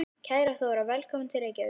Kæra Þóra. Velkomin til Reykjavíkur.